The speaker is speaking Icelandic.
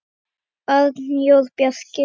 Arnór Bjarki.